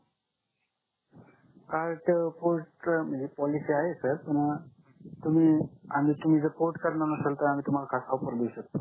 card port म्हणजे policy आहे sir पण तुम्ही आणि तुम्ही जर पोर्ट करत नसल तर आम्ही तुम्हाला ऑफर देऊ शकतो